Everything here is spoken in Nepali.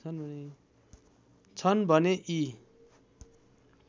छन् भने यी